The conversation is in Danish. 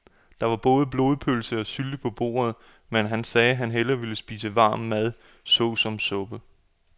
Der var både blodpølse og sylte på bordet, men han sagde, at han bare ville spise varm mad såsom suppe.